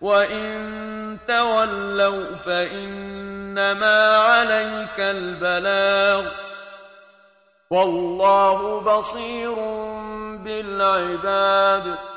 وَّإِن تَوَلَّوْا فَإِنَّمَا عَلَيْكَ الْبَلَاغُ ۗ وَاللَّهُ بَصِيرٌ بِالْعِبَادِ